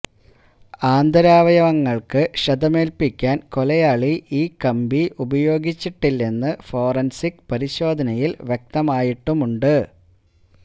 ആന്തരാവയവങ്ങൾക്ക് ക്ഷതമേൽപ്പിക്കാൻ കൊലയാളി ഈ കമ്പി ഉപയോഗിച്ചിട്ടില്ലെന്ന് ഫോറൻസിക് പരിശോധനയിൽ വ്യക്തമായിട്ടുമുണ്ട്